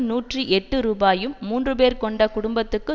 நூற்றி எட்டு ரூபாயும் மூன்று பேர் கொண்ட குடும்பத்துக்கு